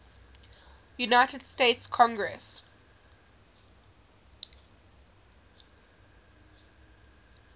united states congress